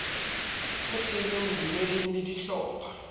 e thehilweng bodumeding le dihlopha